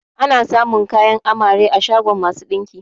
Ana samun kayan amare a shagon masu ɗinki